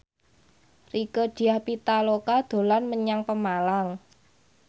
Rieke Diah Pitaloka dolan menyang Pemalang